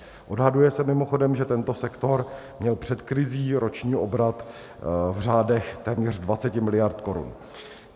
Odhaduje se mimochodem, že tento sektor měl před krizí roční obrat v řádech téměř 20 miliard korun.